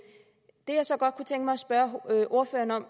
det jeg så godt kunne tænke mig at spørge ordføreren